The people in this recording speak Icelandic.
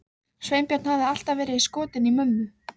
Sveinbjörn hafði alltaf verið skotinn í mömmu.